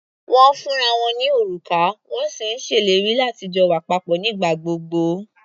Wọ́n ń fúnra wọn ní òrùka, wọ́n sì ń ṣèlérí láti jọ wà papọ̀ nígbà gbogbo.